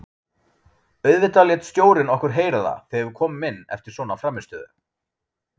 Auðvitað lét stjórinn okkur heyra það þegar við komum inn eftir svona frammistöðu.